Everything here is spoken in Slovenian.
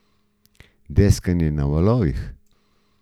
Deskanje na valovih.